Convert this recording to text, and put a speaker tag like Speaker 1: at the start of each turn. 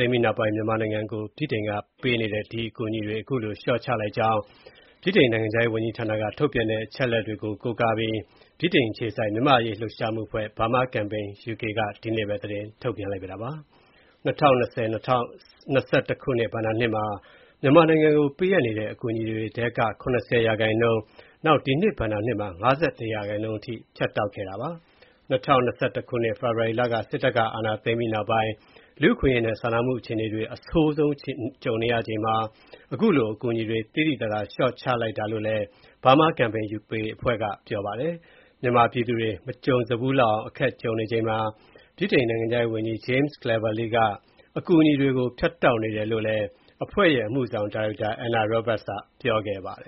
Speaker 1: ိမ်းပြီးနောက်ပိုင်း မြန်မာနိုင်ငံကို ဗြိတိန်က ပေးအပ်နေတဲ့ အကူအညီတွေ ၇၀ ရာခိုင်နှုန်းအထိ လျှော့ချလိုက်ကြောင်း နိုင်ငံခြားရေးဌာနက ထုတ်ပြန်တဲ့ အချက်အလက်တွေကို ကိုးကားပြီး ဗြိတိန်အခြေစိုက် မြန်မာ့အရေး လှုပ်ရှားမှုအဖွဲ့ (Burma Campaign UK) က ဒီကနေ့ပဲ သတင်းထုတ်ပြန်လိုက်ပါတယ်။ ၂၀၂၀-၂၀၂၁ ခုနှစ် ဘဏ္ဍာနှစ်မှာ မြန်မာနိုင်ငံကို ပေးအပ်နေတဲ့ အကူအညီတွေထဲက ၇၀ ရာခိုင်နှုန်း၊ ဒီနှစ်ဘဏ္ဍာနှစ်မှာ ၅၁ ရာခိုင်နှုန်း ဖြတ်တောက်ခဲ့တာပါ။ ၂၀၂၁ ခုနှစ် ဖေဖော်ဝါရီလ စစ်တပ်က အာဏာသိမ်းပြီးနောက်ပိုင်း လူအခွင့်အရေးနဲ့ စာနာမှုအခြေအနေတွေ အဆိုးဆုံးကြုံနေရချိန်မှာ အခုလို အကူအညီတွေ သိသိသာသာ လျှော့ချခဲ့တာလို့လည်း Burma Campaign UK အဖွဲ့က ပြောပါတယ်။ မြန်မာပြည်သူတွေ မကြုံဖူးလောက်အောင် အခက်ကြုံနေချိန်မှာ နိုင်ငံခြားရေးဝန်ကြီး James Cleverly က အကူအညီတွေကို ဖြတ်တောက်နေတယ်လို့လည်း အဖွဲ့ရဲ့ အမှုဆောင်ဒါရိုက်တာ Anna Roberts ကပြောပါတယ